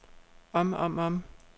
om om om